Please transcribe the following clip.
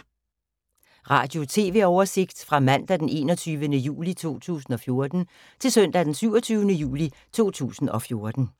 Radio/TV oversigt fra mandag d. 21. juli 2014 til søndag d. 27. juli 2014